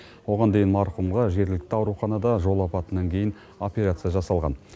оған дейін марқұмға жергілікті ауруханада жол апатынан кейін операция жасалған